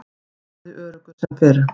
Daði öruggur sem fyrr.